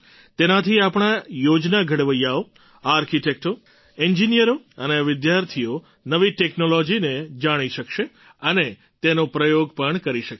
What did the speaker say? તેનાથી આપણા યોજના ઘડવૈયાઓ આર્કિટૅક્ટો એન્જિનિયરો અને વિદ્યાર્થીઓ નવી ટૅક્નૉલૉજીને જાણી શકશે અને તેનો પ્રયોગ પણ કરી શકશે